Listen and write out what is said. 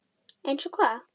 SKÚLI: Eins og hvað?